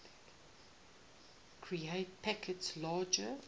create packets larger